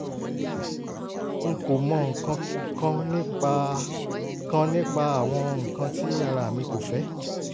n kò mọ nǹkan kan nípa kan nípa àwọn nǹkan tí ara mi kò fẹ́